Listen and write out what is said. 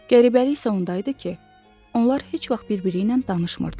Qəribəlik isə onda idi ki, onlar heç vaxt birbiri ilə danışmırdılar.